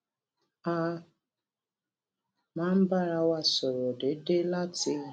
a máa ń bára wa sọrọ déédéé láti